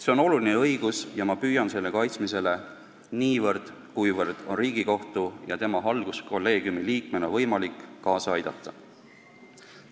See on oluline õigus ja ma püüan selle kaitsmisele niivõrd, kuivõrd see on Riigikohtu ja tema halduskolleegiumi liikmena võimalik, kaasa aidata.